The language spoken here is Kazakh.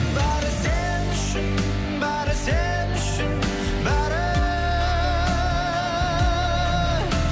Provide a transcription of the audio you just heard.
бәрі сен үшін бәрі сен үшін бәрі